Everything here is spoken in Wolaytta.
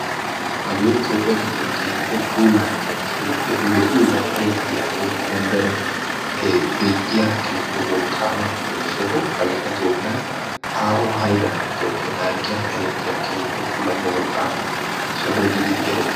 hage toophiyaa giddon keehippe puulane keehippe lo"iyoogan erettiyaa woykko gonddaren beettiya keehippe wolqqama soho hagekka toophiyaa tarikkiyaan aahuwan erettees.